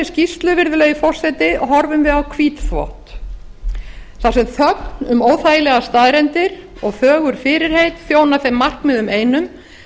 skýrslu virðulegi forseti horfum við á hvítþvott þar sem þögn um óþægilegar staðreyndir og fögur fyrirheit þjóna þeim markmiðum einum